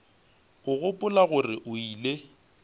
a gopola gore o ile